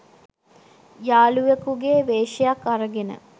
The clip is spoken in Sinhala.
යාළුවෙකුගේ වේශයක් අරගෙන